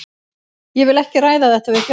Ég vil ekki ræða þetta við fjölmiðla.